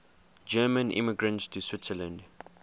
german immigrants to switzerland